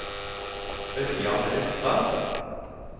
Ørjan Røstad